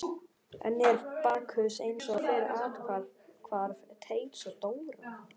Enn er Bakkus eins og fyrr athvarf Teits og Dóra.